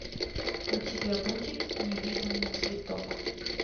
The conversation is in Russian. у тебя будет невиданный цветок